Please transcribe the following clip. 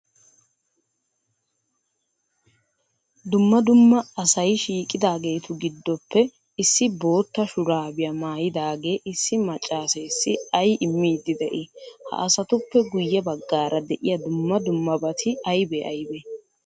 Dumma dumma asay shiiqidaagetu giddoppe issi bootta shuuraabiya maayidaagee issi maccaaseessi ay immiiddi de'ii? Ha asatuppe guyye baggaara de'iya dumma dummabati aybee aybee?